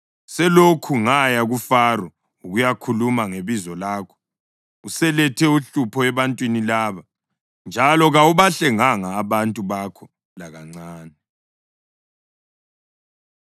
Selokhu ngaya kuFaro ukuyakhuluma ngebizo lakho, uselethe uhlupho ebantwini laba, njalo kawubahlenganga abantu bakho lakancane.”